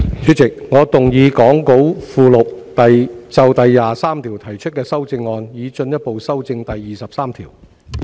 主席，我動議講稿附錄就第23條提出的修正案，以進一步修正第23條。